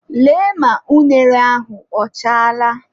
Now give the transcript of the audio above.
Lee ma unere ahụ ọchaala!.